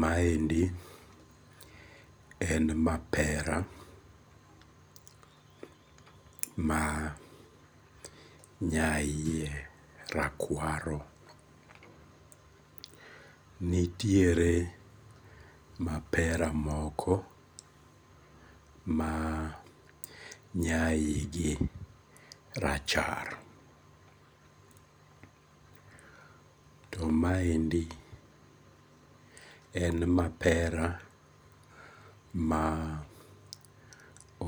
Maendi en mapera mar nyaiye rakwaro, nitiere mapera moko ma nyaigi rachar, to maendi en mapera ma